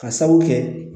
Ka sabu kɛ